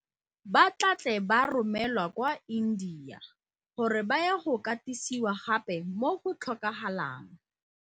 Ba tla tle ba romelwa kwa India gore ba ye go katisiwa gape mo go tlhokagalang.